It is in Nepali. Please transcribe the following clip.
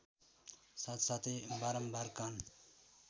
साथसाथै बारम्बार कान